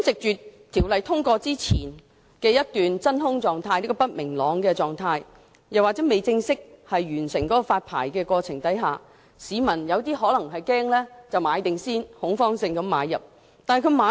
在《條例草案》通過前一段不明朗的真空期，或在發牌過程未正式完成之前，部分市民可能會恐慌性買入龕位。